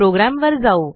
प्रोग्रॅमवर जाऊ